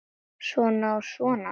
Svona og svona.